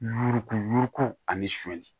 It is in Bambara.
Yuruku yuruku a ni soni